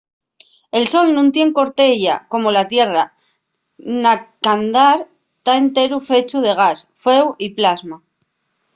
el sol nun tien una corteya como la tierra na qu'andar ta enteru fechu de gas fueu y plasma